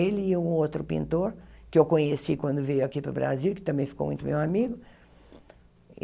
Ele e o outro pintor, que eu conheci quando veio aqui para o Brasil, que também ficou muito meu amigo.